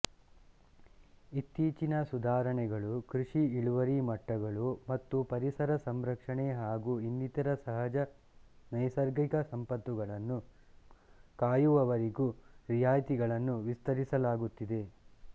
ಇತ್ತೀಚಿನ ಸುಧಾರಣೆಗಳು ಕೃಷಿ ಇಳುವರಿ ಮಟ್ಟಗಳು ಮತ್ತುಪರಿಸರ ಸಂರಕ್ಷಣೆ ಹಾಗು ಇನ್ನಿತರ ಸಹಜ ನೈಸರ್ಗಿಕ ಸಂಪತ್ತುಗಳನ್ನು ಕಾಯುವವರಿಗೂ ರಿಯಾಯತಿಗಳನ್ನು ವಿಸ್ತರಿಸಲಾಗುತ್ತಿದೆ